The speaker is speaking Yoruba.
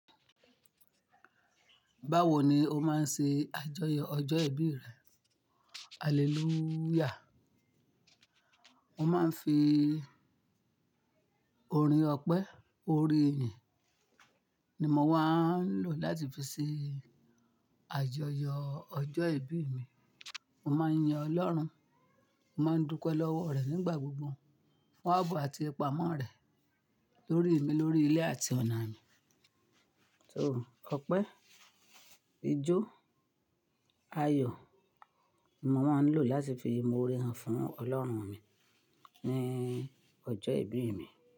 Báwo ni o máa ń ṣe àjọyọ̀ ọjọ́ ìbí rẹ? Hallelujah. Mo máa ń fi orin ọpẹ́, orin ìyìn ni mo máa ń lò láti fi ṣe àjọyọ̀ ọjọ́ ìbí mi. Mo máa ń yin Ọlọ́run, mo máa ń dúpẹ́ lọ́wọ́ rẹ̀ nígbà gbogbo fún àbọ̀ àti ipá mọ́ rẹ̀ lórí mi, lórí ilé àti ọ̀nà mi. So ọpẹ́, ijó, ayọ̀ ni mo máa ń lò láti fi ìmoore hàn fún Ọlọ́run mi ní ọjọ́ ìbí mi.